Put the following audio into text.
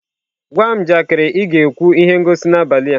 Gwa m njakịrị ị ga-ekwu ihe ngosi n'abalị a.